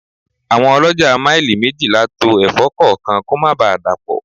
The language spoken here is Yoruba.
Àwọn olójà maili méjìlá to Ẹ̀fọ́ kọ̀ọ̀kan kó má ba dapo.